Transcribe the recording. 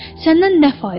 Səndən nə fayda?